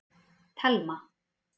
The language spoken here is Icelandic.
Telma